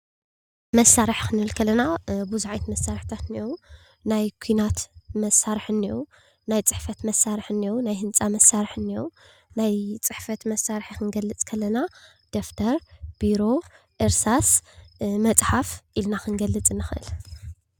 መሳርሒ ክንብል ከለና ብዙሕ ዓይነት መሳርሕታት አለው። ናይ ኩናት መሳርሒ አለው፣ ናይ ፅሕፈት መሳርሒ አለው፣ ናይ ህንፃ ማሳርሒ አለው። ናይ ፅሕፈት መሳርሒ ክንገልፅ ከለና ደፍተር፣ ቢሮ፣ እርሳስ ፣መፅሓፍ ኢልና ክንገልፅ ንኽእል።